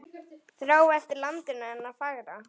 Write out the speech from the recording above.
Þrá eftir landinu hennar fagra.